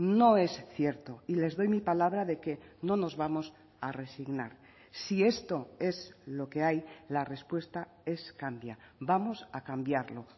no es cierto y les doy mi palabra de que no nos vamos a resignar si esto es lo que hay la respuesta es cambia vamos a cambiarlo